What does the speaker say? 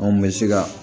Anw bɛ se ka